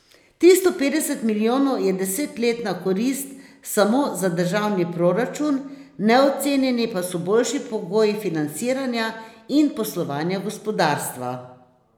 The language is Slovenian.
Tristo petdeset milijonov je desetletna korist samo za državni proračun, neocenjeni pa so boljši pogoji financiranja in poslovanja gospodarstva.